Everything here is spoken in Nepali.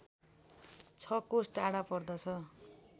६ कोस टाढा पर्दछ